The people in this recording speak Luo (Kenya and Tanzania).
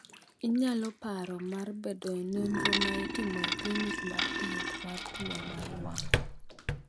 Inyalo paro mar bedo e nonro ma itimo e klinik mar thieth mar tuwo mar wang’.